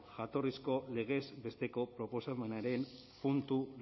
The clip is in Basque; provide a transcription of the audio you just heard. jatorrizko legez besteko proposamenaren puntu